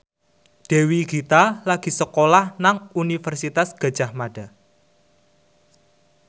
Dewi Gita lagi sekolah nang Universitas Gadjah Mada